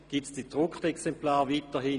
Wird es weiterhin gedruckte Exemplare geben?